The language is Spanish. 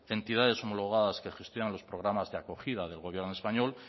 entidades homologadas que gestionan los programas de acogida del gobierno español